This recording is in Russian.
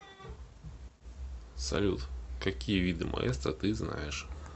салют какие виды маэстро ты знаешь